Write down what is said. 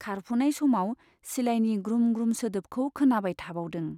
खारफुनाय समाव सिलायनि ग्रुम ग्रुम सोदोबखौ खोनाबाय थाबावदों।